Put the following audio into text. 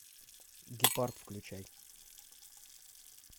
гепард включай